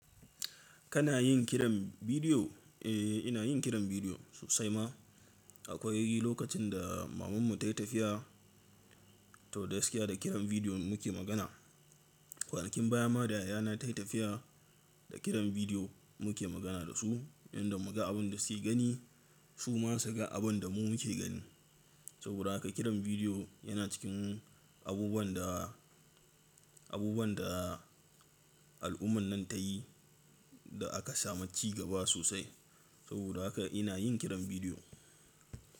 Kana yin kiran bidiyo? Eh, ina yin kiran bidiyo sosai ma. Akwai lokacin da mamanmu ta yi tafiya, to gaskiya da kiran bidiyo muke magana. Kwanakin baya ma da yayana ta yi tafiya, da kiran bidiyo muke magana da su, inda muka ga abin da suke gani, su ma su ga abin da mu muke gani. Saboda haka kiran bidiyo yana cikin abubuwan da, abubuwan da al’umman nan ta yi da aka samu ci gaba sosai. Saboda haka ina yin kiran bidiyo.